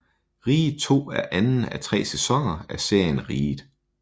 Riget II er anden af tre sæsoner af serien Riget